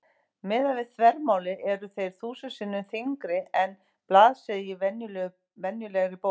Miðað við þvermálið eru þeir þúsund sinnum þynnri en blaðsíða í venjulegri bók.